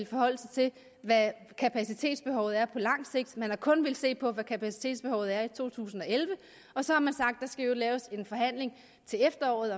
forholde sig til hvad kapacitetsbehovet er på lang sigt man har kun villet se på hvad kapacitetsbehovet er i to tusind og elleve og så har man sagt at skal laves en forhandling til efteråret